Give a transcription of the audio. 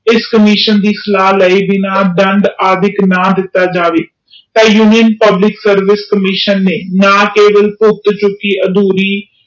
ਇਸ commission ਦੇ ਸਲਾਹ ਲਾਇ ਬਿਨਾ ਜਾਵੇ ਤਾ union public service commission ਨੇ ਨਾ ਕੇਵਲ ਭੁਗਤ ਚੁਕੀਅਧੂਰੀ